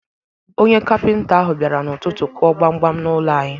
Onye kapinta ahụ bịara n'ụtụtụ kụọ gbamgbam n'ụlọ anyị.